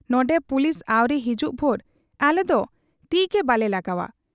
ᱱᱚᱱᱰᱮ ᱯᱩᱞᱤᱥ ᱟᱹᱣᱨᱤ ᱦᱤᱡᱩᱜ ᱵᱷᱩᱨ ᱟᱞᱮᱫᱚ ᱛᱤᱜᱮ ᱵᱟᱞᱮ ᱞᱟᱜᱟᱣ ᱟ ᱾